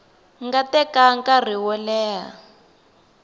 nga teka nkarhi wo leha